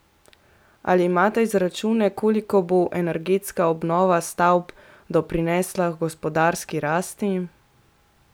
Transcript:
Ali imate izračune, koliko bo energetska obnova stavb doprinesla h gospodarski rasti?